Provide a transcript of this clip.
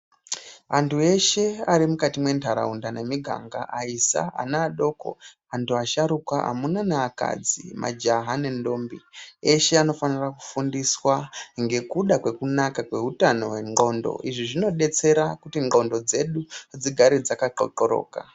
Antu eshe ari mukati mwenharaunda nemiganga aisa, ana adoko, antu asharuka, amuna neakadzi, majaha nendombi eshe anofanira kufundiswa ngekuda kwekunaka kweutano hwendhlqondo, izvi zvinodetsera kuti ndhlqondo dzedu dzigare dzakaxokoroka.